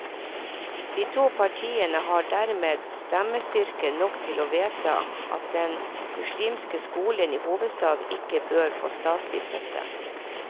De to partiene har dermed stemmestyrke nok til å vedta at den muslimske skolen i hovedstaden ikke bør få statlig støtte.